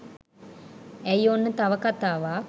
ඇයි ඔන්න තව කතාවක්